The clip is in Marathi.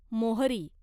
मोहरी